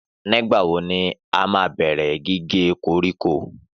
Nígbà wo ni a máa bẹ̀rẹ̀ gígé koríko?